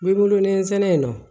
N bɛ wolo nsɛnɛ in na